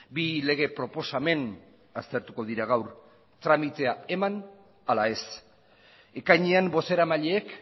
bi lege proposamen aztertuko dira gaur tramitea eman ala ez ekainean bozeramaileek